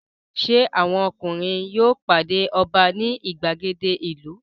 Ṣé àwọn ọkùnrin yóò pàdé ọba ní ìgbàgede ìlú?